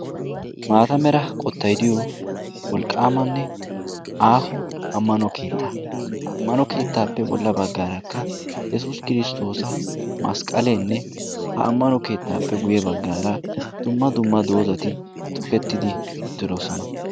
Maata mera qottay diyo wolqqaamanne aaho ammano keettaa. ha ammano keettaappe bolla baggaarakka yesuus kiristtoosa masqqaleenne ha ammano keettaappe guyye baggaara dumma dumma doozati tukettidi uttiloosona.